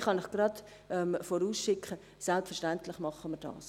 Ich kann gleich vorausschicken, dass wir dies selbstverständlich tun werden.